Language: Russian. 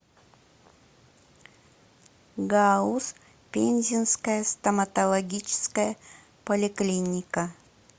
гауз пензенская стоматологическая поликлиника